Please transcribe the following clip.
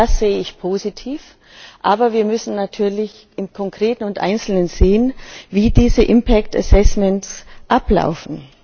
Auch das sehe ich positiv, aber wir müssen natürlich im Konkreten und Einzelnen sehen, wie diese impact assessments ablaufen.